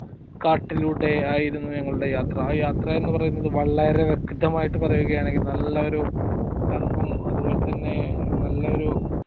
കാട്ടിലൂടെ ആയിരുന്നു ഞങ്ങളുടെ യാത്ര അ യാത്ര എന്ന് പറയുന്നത് വളരെ വ്യക്ക്‌തമായിട്ട് പറയുവാണെങ്കിൽ നല്ല ഒരു തണുപ്പും അതുപ്പോലെ തന്നെ നല്ല ഒരു